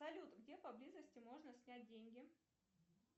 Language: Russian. салют где поблизости можно снять деньги